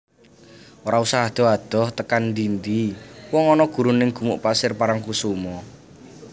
Ora usah adoh adoh tekan ndi ndi wong ono gurun ning Gumuk Pasir Parangkusumo